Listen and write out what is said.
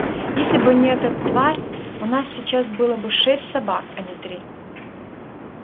если бы не эта тварь у нас сейчас было бы шесть собак а не три